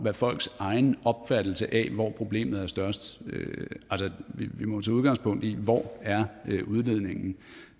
er folks egen opfattelse af hvor problemet er størst vi må tage udgangspunkt i hvor udledningen og